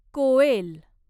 कोएल